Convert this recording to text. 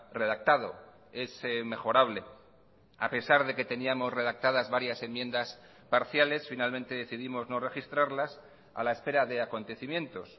redactado es mejorable a pesar de que teníamos redactadas varias enmiendas parciales finalmente decidimos no registrarlas a la espera de acontecimientos